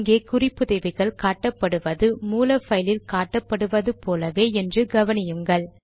இங்கே குறிப்புதவிகள் காட்டப்படுவது மூல பைலில் காட்டப்படுவது போலவே என்று கவனியுங்கள்